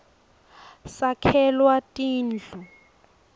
sakhelwa tindu